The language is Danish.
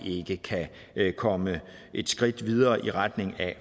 ikke vi kan komme et skridt videre i retning af